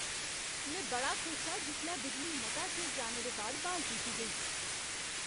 में बड़ा खुश हा जिसलै बिजली मता चिर जाने दे बाद ब्हाल कीती गेई।